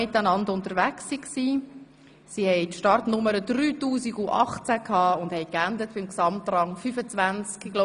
Die Gruppe hatte die Startnummer 3018 und erreichte den Gesamtrang 25.